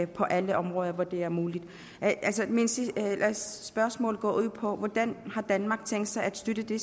på alle områder hvor det er muligt altså spørgsmålet går på hvordan har danmark tænkt sig at støtte det